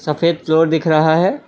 सफेद फ्लोर दिख रहा है।